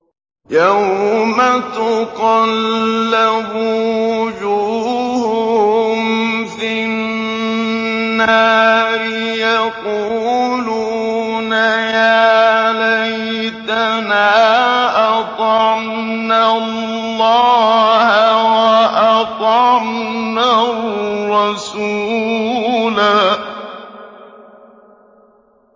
يَوْمَ تُقَلَّبُ وُجُوهُهُمْ فِي النَّارِ يَقُولُونَ يَا لَيْتَنَا أَطَعْنَا اللَّهَ وَأَطَعْنَا الرَّسُولَا